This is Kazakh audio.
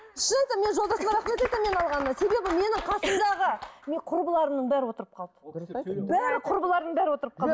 шын айтамын мен жолдасыма рахмет айтамын мені алғанына себебі менің қасымдағы құрбыларымның бәрі отырып қалды бәрі құрбыларым бәрі отырып қалды